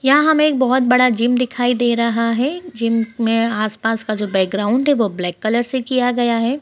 यहाँ हमें एक बहुत बड़ा जिम दिखाई दे रहा है जिम में आस-पास का जो बैकग्राउंड है वो ब्लैक कलर से किया गया है।